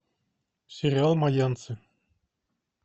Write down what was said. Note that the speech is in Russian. сериал майянцы